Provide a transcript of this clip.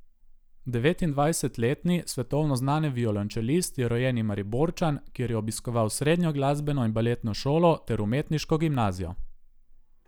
Devetindvajsetletni svetovno znani violončelist je rojeni Mariborčan, kjer je obiskoval srednjo glasbeno in baletno šolo ter umetniško gimnazijo.